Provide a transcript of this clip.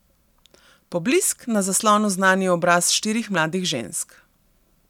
Poblisk, na zaslonu znani obrazi štirih mladih žensk.